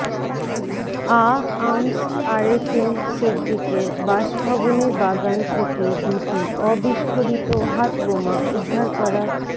আআমস আরেফিন সিদ্দিকের বাসভবনের বাগান থেকে দুটি অবিস্ফোরিত হাতবোমা উদ্ধার করা